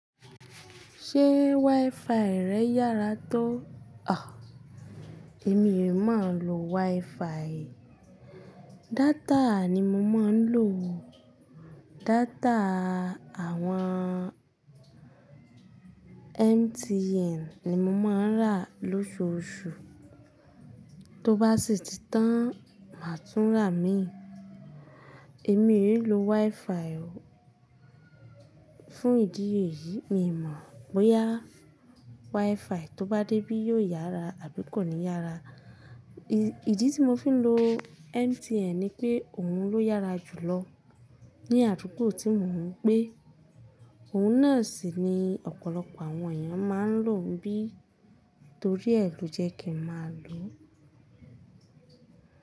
Ṣé WiFi rẹ yára tó? Àh, èmi ò mọ̀ lo WiFi. Data ni mo máa ń lò. Data àwọn MTN ni mo máa ń rà lóṣooṣù. Tó bá sì ti tán, màá tún rà ìmí. Èmi è lo WiFi o. Fún ìdí èyí, mi ò mọ̀ bóyá WiFi tó bá dé bí yóò yára àbí kò ní yára. Ìdí tí mo fi ń lo MTN ni pé òun ló yára jù lọ ní àdúgbò tí mò ń gbé. Òun náà sì ni ọ̀pọ̀lọpọ̀ àwọn èèyàn máa ń lò bí torí ẹ ló jẹ́ kí n máa lò ó.